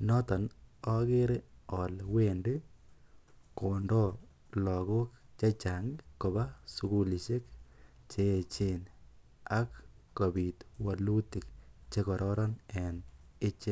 noton okere olee wendi kondo lokok chechang kobaa sukulishek che echen ak kobit wolutik chekororon en ichek.